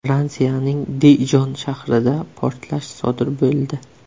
Fransiyaning Dijon shahrida portlash sodir bo‘ldi.